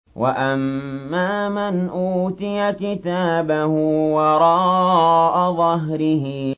وَأَمَّا مَنْ أُوتِيَ كِتَابَهُ وَرَاءَ ظَهْرِهِ